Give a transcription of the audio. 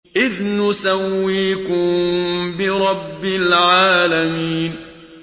إِذْ نُسَوِّيكُم بِرَبِّ الْعَالَمِينَ